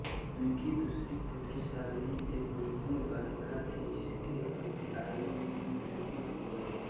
इनकी दूसरी पुत्री शालिनी एक रुग्ण बालिका थी जिसकी अल्पायु में ही मृत्यु हो गई